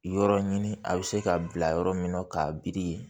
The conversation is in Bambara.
Yɔrɔ ɲini a bɛ se ka bila yɔrɔ min na k'a biri